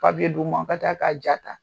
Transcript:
Mais in d'u ma bɛ taa ka ja ta.